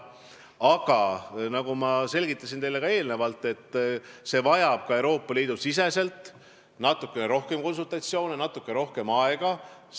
Aga nagu ma juba selgitasin, muudatus vajab Euroopa Liidu siseselt natukene rohkem konsultatsioone, natuke rohkem aega.